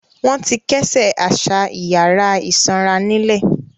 Wọn ti kẹ́sẹ̀ àṣà ìyàrá ìsanra nílẹ̀.